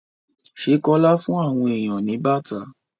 Ṣé Kọ́lá fún àwọn èèyàn ní bàtà?